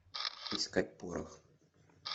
искать порох